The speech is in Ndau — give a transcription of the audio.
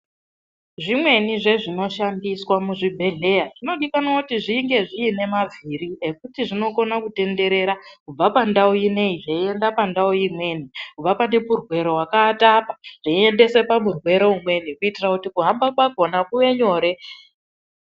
Zvimweni zvezvinoshandiswa muzvibhehleya zvinodikanwa kuti zvinge zviine mavhiri ekuti zvinokona kutenderera kubva pandau inei zveienda pandau imweni, kubva pane murwere wakaata apa zveiendese pamurwere umweni kuitira kuti kuhamba kwakona kuve nyore.